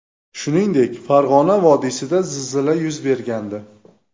Shuningdek, Farg‘ona vodiysida zilzila yuz bergandi .